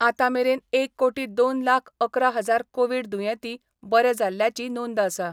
आतां मेरेन एक कोटी दोन लाख अकरा हजार कोविड दुयेंती बरे जाल्ल्याची नोंद आसा.